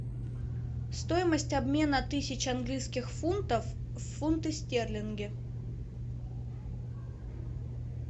стоимость обмена тысячи английских фунтов в фунты стерлинги